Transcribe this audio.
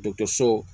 Dɔkɔtɔrɔso